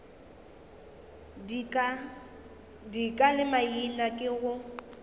dika le maina ke go